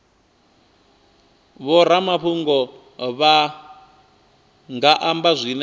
vhoramafhungo vha nga amba zwine